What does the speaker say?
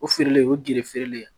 O feereli o gerefereli